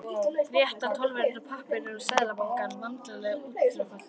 Rétti tollverðinum pappírana úr Seðlabankanum, vandlega útfyllta.